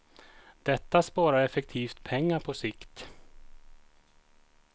Detta sparar effektivt pengar på sikt.